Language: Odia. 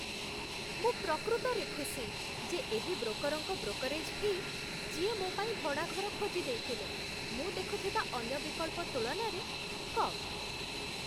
ମୁଁ ପ୍ରକୃତରେ ଖୁସି ଯେ ଏହି ବ୍ରୋକର୍‌ଙ୍କ ବ୍ରୋକରେଜ୍ ଫି, ଯିଏ ମୋ ପାଇଁ ଭଡ଼ା ଘର ଖୋଜି ଦେଇଥିଲେ, ମୁଁ ଦେଖିଥିବା ଅନ୍ୟ ବିକଳ୍ପ ତୁଳନାରେ କମ୍।